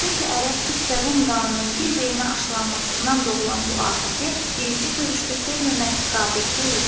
Çünki ərəb, türk və rum qanının bir-birinə aşılanmasından doğulan bu afəti birinci görüşdə sevməmək qabil deyildi.